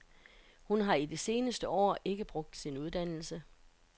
Hun har i de seneste år ikke brugt sin uddannelse.